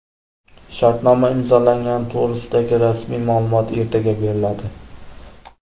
Shartnoma imzolangani to‘g‘risidagi rasmiy ma’lumot ertaga beriladi.